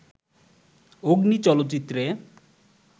'অগ্নি' চলচ্চিত্রে